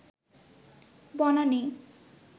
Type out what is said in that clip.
Banani